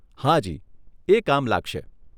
હાજી, એ કામ લાગશે.